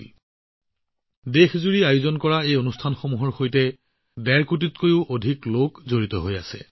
কোনোবা নহয় কোনোবা প্ৰকাৰে এই সন্দৰ্ভত সমগ্ৰ দেশতে আয়োজন কৰা অনুষ্ঠানসমূহত ডেৰ কোটিৰো অধিক লোক জড়িত হৈ আছে